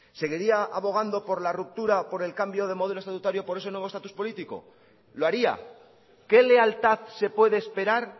seguiría abogando por la ruptura por el cambio de modelo estatutario por ese nuevo estatus político lo haría qué lealtad se puede esperar